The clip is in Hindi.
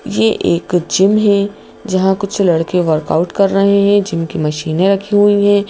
ये एक जिम है जहां कुछ लड़के वर्कआउट कर रहे हैं जिम की मशीनें रखी हुई हैं।